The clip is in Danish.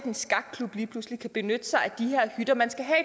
en skakklub lige pludselig kan benytte sig af de her hytter man skal have